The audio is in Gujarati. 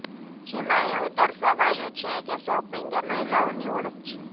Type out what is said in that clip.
જેમાં એવું દર્શાવાયું છે કે શોપિંગ એ મહિલાઓની ઓળખ છે